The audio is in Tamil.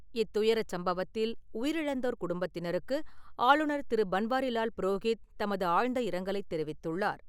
இத்துயரச் சம்பவத்தில் உயிரிழந்தோர் குடும்பத்தினருக்கு ஆளுநர் திரு. பன்வாரிலால் புரோகித் தமது ஆழ்ந்த இரங்கலை தெரிவித்துள்ளார்.